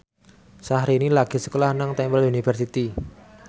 Syahrini lagi sekolah nang Temple University